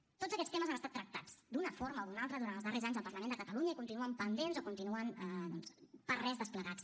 tots aquests temes han estat tractats d’una forma o d’una altra durant els darrers anys en el parlament de catalunya i continuen pendents o continuen doncs per res desplegats